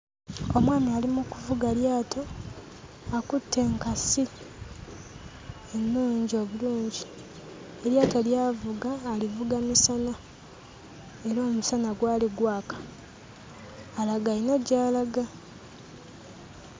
Omwami ali mu kuvuga lyato, akutte enkasi ennungi obulungi. Eryato ly'avuga alivuga misana era omusana gwali gwaka. Alaga alina gy'alaga.